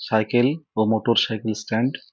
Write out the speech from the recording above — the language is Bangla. সাইকেল ও মোটরসাইকেল স্ট্যান্ড ।